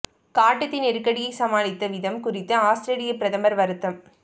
காட்டுத் தீ நெருக்கடியைச் சமாளித்த விதம் குறித்து ஆஸ்திரேலிய பிரதமர் வருத்தம்